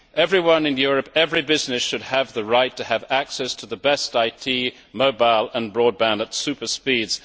Everyone in Europe, every business, should have the right to have access to the best IT, mobile and broadband at super speeds.